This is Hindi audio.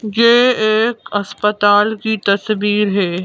ये एक अस्पताल की तस्वीर है।